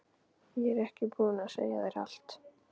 Ég er ekki búin að segja þér allt!